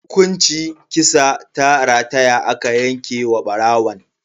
Hukunci kisa ta rataya aka yanke wa barawon.